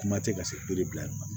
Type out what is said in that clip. Kuma tɛ ka se bilayɔrɔ ma